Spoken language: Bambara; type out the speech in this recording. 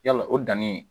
Yala o danni